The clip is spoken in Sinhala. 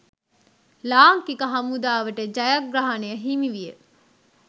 ලාංකික හමුදාවට ජයග්‍රහණය හිමිවිය.